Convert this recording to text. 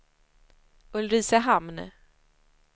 Ulricehamn